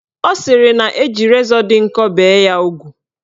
Ọ sịrị na-eji rezọ dị nkọ bee ya ugwu